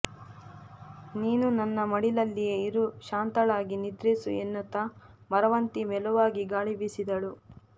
ನೀನೂ ನನ್ನ ಮಡಿಲಲ್ಲಿಯೇ ಇರು ಶಾಂತಳಾಗಿ ನಿದ್ರಿಸು ಎನ್ನುತ್ತಾ ಮರವಂತಿ ಮೆಲುವಾಗಿ ಗಾಳಿ ಬೀಸಿದಳು